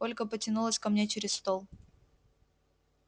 ольга потянулась ко мне через стол